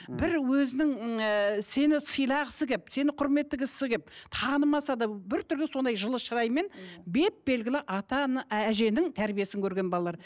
бір өзінің ыыы сені сыйлағысы келіп сені құрметтігісі келіп танымаса да бір түрлі сондай жылы шыраймен беп белгілі атаны әженің тәрбиесін көрген балалар